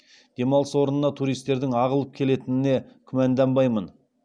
демалыс орнына туристердің ағылып келетініне күмәнданбаймын